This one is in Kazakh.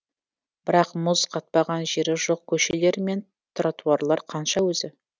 бірақ мұз қатпаған жері жоқ көшелер мен тротуарлар қанша өзі